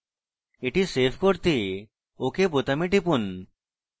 এটি save করতে ok বোতামে টিপুন